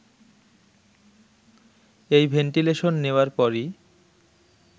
এই ভেন্টিলেশন নেওয়ার পরই